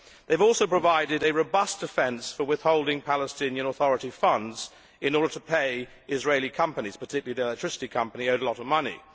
They have also provided a robust defence for withholding Palestinian authority funds in order to pay Israeli companies, particularly the electricity company which is owed a lot of money.